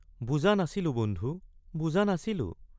বুজা নাছিলো বন্ধু—বুজা নাছিলো।